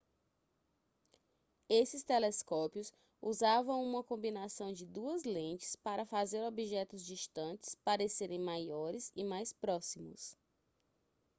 esses telescópios usavam uma combinação de duas lentes para fazer objetos distantes parecerem maiores e mais próximos